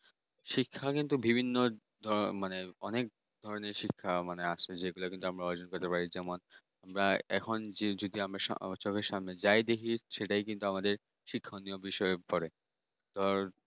শিক্ষা কিন্তু বিভিন্ন ধরনের অনেক অনেক ধরনের শিক্ষা মানে আছে যেগুলো আমরা অর্জন করতে পারিনা আমরা এখন চোখের সামনে যায় দেখি সেটাই কিন্তু আমাদের শিক্ষা নিয়মের বিষয়ে পড়ে ধর